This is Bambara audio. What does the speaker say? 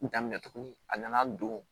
Daminɛ tugunni a nana don